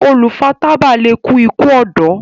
olu fà tábà lẹ kú iku ọdọ.